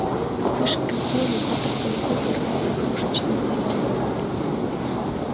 вспышка боли будто в голове взорвался крошечный заряд